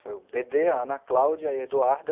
Foi o bê dê, a Ana Cláudia e a Eduarda.